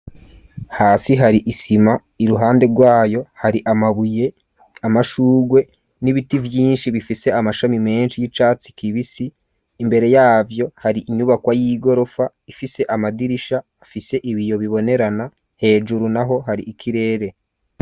Hasi hari isima, iruhande rwayo, hari amabuye, amashurwe, n'ibiti vyinshi, bifise amashami menshi, y'icatsi kibisi; imbere yavyo, hari inyubakwa y'igorofa, ifise amadirisha, afise ibiyo bibonerana; hejuru naho, hari ikirere.